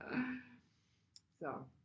Så